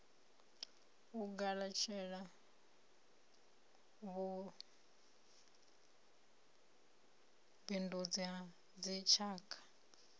u galatshela vhubindundzi ha dzitshaka